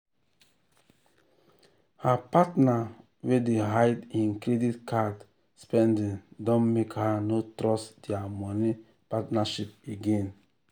her partner wey dey hide hin credit card spending don make her no trust dia money partnership again.